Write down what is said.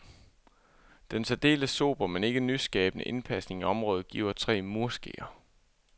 Denne særdeles sobre, men ikke nyskabende indpasning i området, giver tre murskeer.